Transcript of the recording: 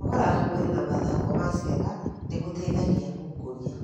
Kũnogora mwĩrĩ na mathako ma ciana nĩ gũteithagia gũkũria